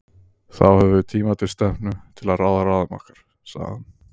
Þá höfum við tíma til stefnu til að ráða ráðum okkar, sagði hann.